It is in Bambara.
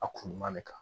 A kun ɲuman ne kan